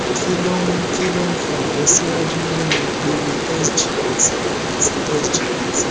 kí ló ń kí ló ń fa ìlọsíwájú nínú ipele sgot àti sgpt